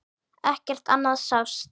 Ekkert annað sást.